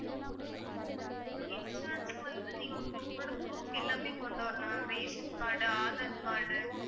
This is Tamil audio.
insurance க்கு வந்து நீங்க உங்களோட proof எல்லாமே கொண்டு வரணும் ma'am ration card, aadhar card